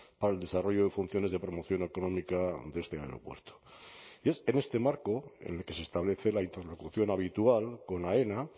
para el desarrollo y funciones de promoción económica de este aeropuerto es en este marco en el que se establece la interlocución habitual con aena